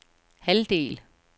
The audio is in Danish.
halvdel